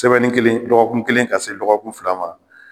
Semɛni kelen ,dɔgɔkun kelen ka se dɔgɔkun fila ma.